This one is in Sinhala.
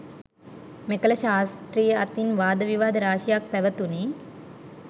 මෙකල ශාස්ත්‍රිය අතින් වාද විවාද රාශියක් පැවතුණි.